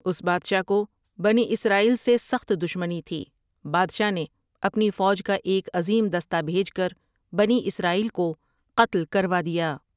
اس بادشاہ کو بنی اسرائیل سے سخت دشمنی تھی بادشاہ نے اپنی فوج کا ایک عظیم دستہ بھیج کر بنی اسرائیل کو قتل کروا دیا ۔